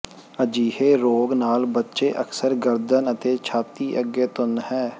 ਅਜਿਹੇ ਰੋਗ ਨਾਲ ਬੱਚੇ ਅਕਸਰ ਗਰਦਨ ਅਤੇ ਛਾਤੀ ਅੱਗੇ ਤੁੰਨ ਹੈ